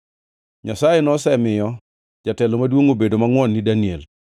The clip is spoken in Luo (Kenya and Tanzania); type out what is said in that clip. Nyasaye nosemiyo jatelo maduongʼ obedo mangʼwon gi Daniel,